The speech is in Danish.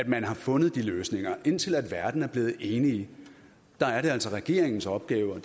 man har fundet de løsninger indtil verden er blevet enige er er det altså regeringens opgave og